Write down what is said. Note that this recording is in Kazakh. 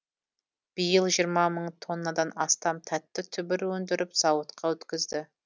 биыл жиырма мың тоннадан астам тәтті түбір өндіріп зауытқа өткізді